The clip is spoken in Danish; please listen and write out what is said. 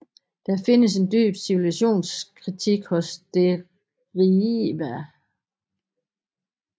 Der findes en dyb civilisationskritik hos Derieva